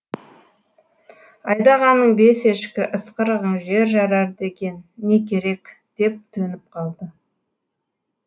айдағаның бес ешкі ысқырығың жер жарар деген не керек деп төніп қалды